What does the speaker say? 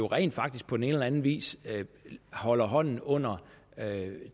rent faktisk på den ene eller anden vis holder hånden under